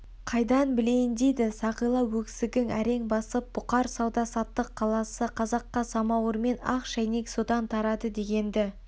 қайдан білейін дейді сақила өксігің әрең басып бұхар сауда-саттық қаласы қазаққа самауыр мен ақ шәйнек содан тарады дегенді